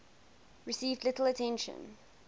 received little attention